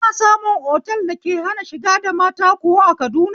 Ana samu otal da ke hana shiga da mata kuwa a Kaduna?